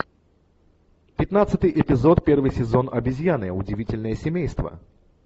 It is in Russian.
пятнадцатый эпизод первый сезон обезьяны удивительное семейство